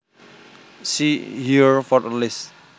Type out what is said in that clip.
See here for a list